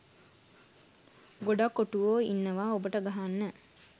ගොඩක් ඔටුවෝ ඉන්නවා ඔබට ගහන්න